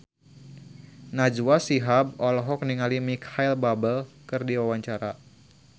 Najwa Shihab olohok ningali Micheal Bubble keur diwawancara